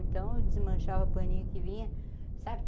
Então eu desmanchava paninho que vinha. sabe